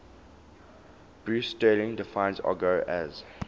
bruce sterling defines argot as